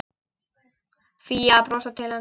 Fía að brosa til hans.